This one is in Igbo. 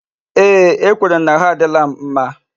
Ee, ekwere m na ahụ adịla m mma